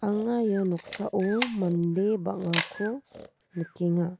anga ia noksao mande bang·ako nikenga.